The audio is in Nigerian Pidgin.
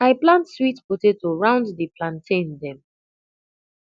i plant sweet potato round the plantain dem